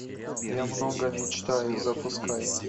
я много мечтаю запускай